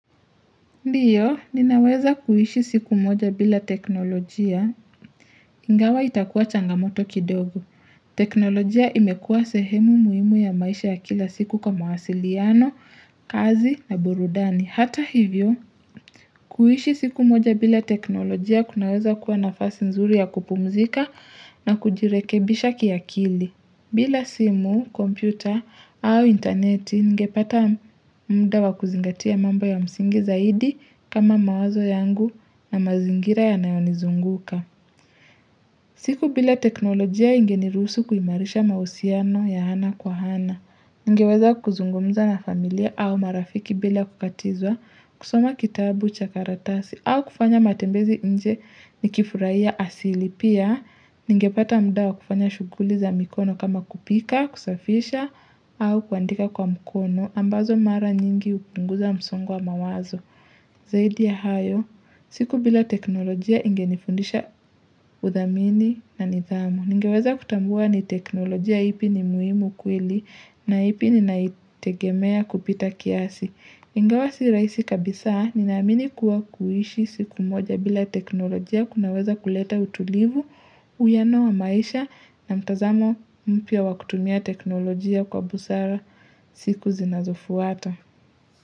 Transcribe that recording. Ndiyo, ninaweza kuishi siku moja bila teknolojia, ingawa itakuwa changamoto kidogo. Teknolojia imekuwa sehemu muhimu ya maisha ya kila siku kwa mawasiliano, kazi na burudani. Hata hivyo, kuishi siku moja bila teknolojia kunaweza kuwa nafasi nzuri ya kupumzika na kujirekebisha kiakili. Bila simu, kompyuta au interneti ningepata mda wa kuzingatia mambo ya msingi zaidi kama mawazo yangu na mazingira yanayonizunguka. Siku bila teknolojia ingeniruhusu kuhimarisha mahusiano ya ana kwa hana. Ningeweza kuzungumza na familia au marafiki bila kukatizwa, kusoma kitabu cha karatasi au kufanya matembezi nje nikifurahia asili pia ningepata mudawa kufanya shughuli za mikono kama kupika, kusafisha au kuandika kwa mkono ambazo mara nyingi hupunguza msongo wa mawazo. Zaidi ya hayo, siku bila teknolojia ingenifundisha udhamini na nidhamu. Ningeweza kutambua ni teknolojia ipi ni muhimu kweli na ipi ninaitegemea kupita kiasi. Ingawa si rahisi kabisaa, ninaamini kuwa kuishi siku moja bila teknolojia kunaweza kuleta utulivu, uwiano wa maisha na mtazamo mpya wa kutumia teknolojia kwa busara siku zinazofuata.